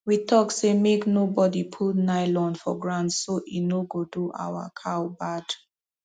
we talk say make no bodi put nylon for ground so e no go do our cow bad